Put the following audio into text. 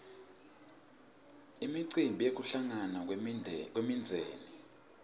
imicimbi yekuhlangana kwemindzeni